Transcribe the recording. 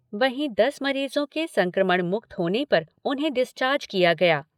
वहीं दस मरीजों के संक्रमण मुक्त होने पर उन्हें डिस्चार्ज किया गया।